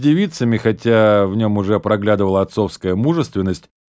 девицами хотя в нем уже проглядывала отцовская мужественность